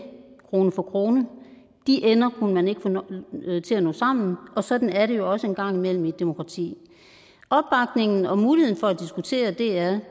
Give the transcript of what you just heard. krone for krone de ender kunne man ikke få til at nå sammen og sådan er det jo også en gang imellem i et demokrati opbakningen og muligheden for at diskutere dr